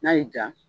N'a y'i ja